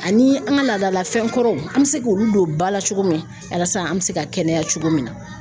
Ani an ka laadalafɛn kɔrɔw an bɛ se k'olu don ba la cogo min yalisa an bɛ se ka kɛnɛya cogo min na .